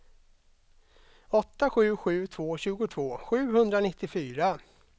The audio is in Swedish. åtta sju sju två tjugotvå sjuhundranittiofyra